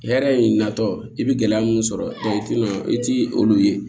Hɛrɛ in natɔ i bɛ gɛlɛya mun sɔrɔ i tɛna i ti olu ye